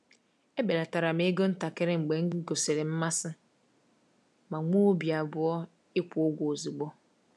Ebelatara ego ntakịrị mgbe m gosiri mmasị ma nwee obi abụọ ịkwụ ụgwọ ozugbo.